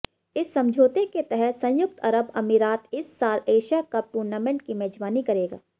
इस समझौते के तहत संयुक्त अरब अमीरात इस साल एशिया कप टूर्नामेंट की मेजबानी करेगा